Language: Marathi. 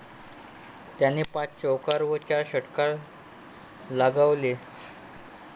त्याने पाच चौकार व चार षटकार लगावले.